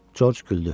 Corc güldü.